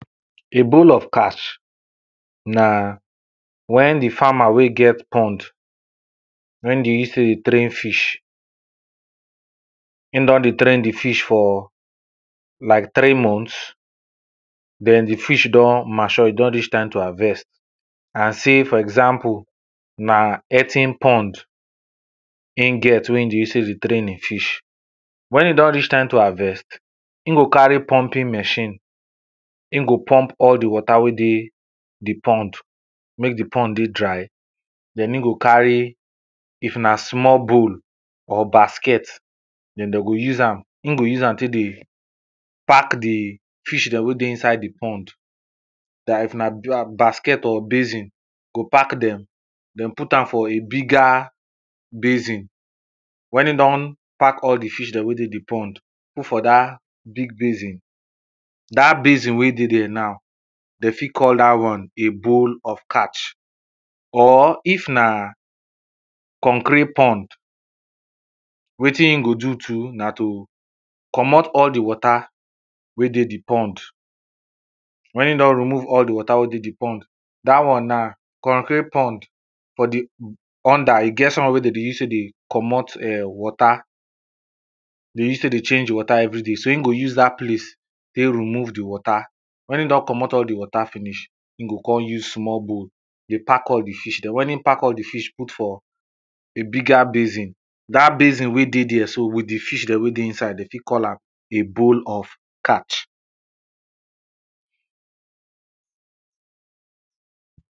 A bowl of catch, na wen di farmer wey e get pound wey dey use take dey train fish, Im don dey train di fish for like three months, den di fish don mature, e don reach time to harvest and sey for example, na earthen pond im get wen im dey use take dey train di fish, wen e don reach time harvest, him go carry pumping machine, im go pump all di water wey dey di pond, make di pond dey dry, den e go carry, if na small bowl or basket, den dem go use am, im go use am take dey park di fish dem wey dey inside di pond. If na basket or basin, e go park dem den put am for a bigger basket or basin, wen e don all di fish dem wey dey inside di pond, put for dat basin, dat basin wen dey there now, dem fit call dat one a bowl of catch. Or if na concrete pond, wetin im go do too na to komot all di water wey dey di pond, wen e don remove all di water wey dey di pond, dat one na, concrete pond, for di under, e get something wey dem dey use take dey komot [urn] water, dey use take dey change di water every day, so im go use dat plate, take remove di water, wen im don komot di water finish, im go come use small bowl dey park all di fish dem, wen im park all di fish put for, a bigger basin, dat basin wey dey there so with di fish dem wey dey inside, dem fit call am a bowl of catch.